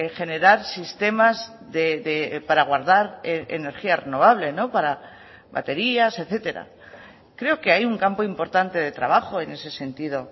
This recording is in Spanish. generar sistemas para guardar energía renovable para baterías etcétera creo que hay un campo importante de trabajo en ese sentido